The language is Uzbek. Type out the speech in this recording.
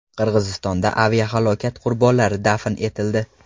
Qirg‘izistonda aviahalokat qurbonlari dafn etildi.